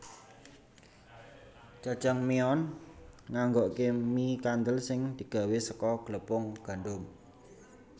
Jajangmyeon nganggokke mie kandel sing digawé saka glepung gandum